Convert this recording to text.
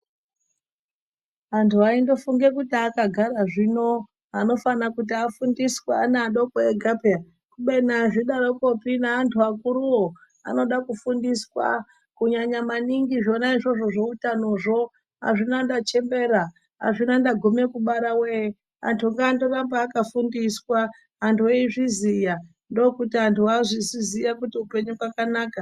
Antu aindofunge kuti akagara zvino anofane kuti afundiswe ana adoko ega peya kubeni azvidarokopi neantu akuruwo anodakufundiswa kunyanaya maningi zvona zveutanozvo azvina ndachemebre azvina ndagume kubara woye ,antu ngandoramba akafundiswa anhu ezviziya ndokuti anhu azvozviziya kuti hupenyu hwakanaka.